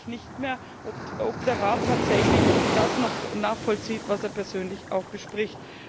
Dann weiß ich nicht mehr, ob der Rat das tatsächlich noch nachvollzieht, was er persönlich auch bespricht.